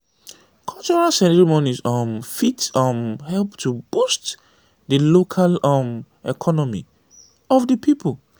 cultural ceremonies um fit um help to boost di local um economy of di pipo